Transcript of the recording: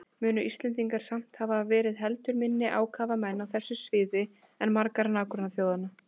Munu Íslendingar samt hafa verið heldur minni ákafamenn á þessu sviði en margar nágrannaþjóðanna.